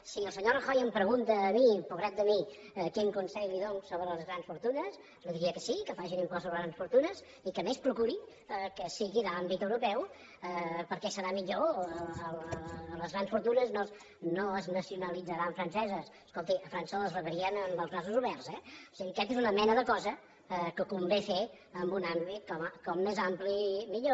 si el senyor rajoy em pregunta a mi pobret de mi quin consell li dono sobre les fortunes li diria que sí que faci un impost sobre grans fortunes i que a més procuri que sigui d’àmbit europeu perquè serà millor les grans fortunes no es nacionalitzaran franceses escolti a frança les rebrien amb els braços oberts eh o sigui aquesta és una mena de cosa que convé fer en un àmbit com més ampli millor